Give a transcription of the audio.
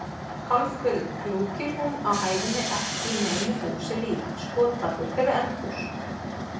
Hálfköruð klúkir hún á hæðinni ekki neinu húsi lík: skotpallur fyrir eldflaug?